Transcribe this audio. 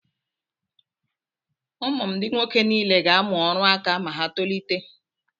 Ụmụ m ndị nwoke niile ga-amụ ọrụ aka ma ha tolite.